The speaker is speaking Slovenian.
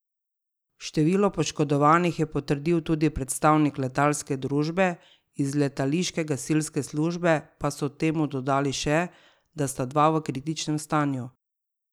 Število poškodovanih je potrdil tudi predstavnik letalske družbe, iz letališke gasilske službe pa so temu dodali še, da sta dva v kritičnem stanju.